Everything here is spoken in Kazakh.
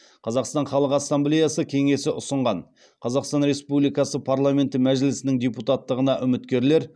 қазақстан халық ассамблеясы кеңесі ұсынған қазақстан республикасы парламенті мәжілісінің депутаттығына үміткерлер